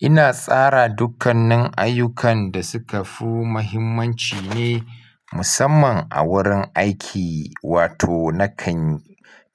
Ina tsara dukkanin ayyukan dasuka fi muhimmanci ne musamman a wurin aiki, wato nakan